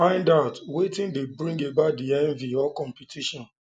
find out wetin de bring about di envy or competition